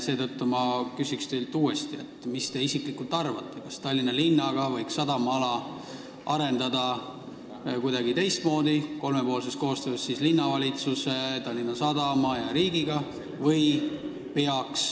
Seetõttu ma küsin teilt uuesti: mis te isiklikult arvate, kas sadamaala võiks arendada kuidagi ka kolmepoolses koostöös linnavalitsuse, Tallinna Sadama ja riigiga?